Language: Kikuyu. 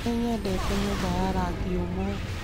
Nĩ nyendete nyũmba ya rangi ũmwe